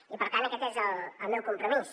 i per tant aquest és el meu compromís